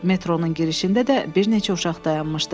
Metronun girişində də bir neçə uşaq dayanmışdı.